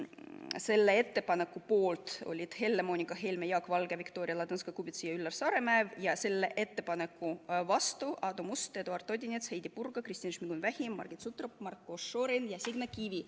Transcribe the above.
Selle ettepaneku poolt olid Helle-Moonika Helme, Jaak Valge, Viktoria Ladõnskaja-Kubits ja Üllar Saaremäe, ettepaneku vastu oli Aadu Must, Eduard Odinets, Heidy Purga, Kristina Šmigun-Vähi, Margit Sutrop, Marko Šorin ja Signe Kivi.